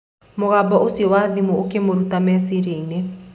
Mũgambo ũcio wa thimũ ũkĩmũruta meciria-inĩ.